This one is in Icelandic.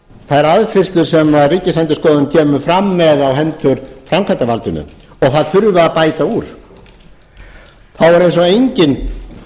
þær aðfinnslur sem ríkisendurskoðun kemur fram með á hendur framkvæmdarvaldinu og þurfi að bæta úr þá er eins og enginn